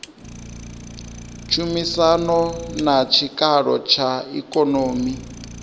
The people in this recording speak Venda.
tshumisano na tshikalo tsha ikonomi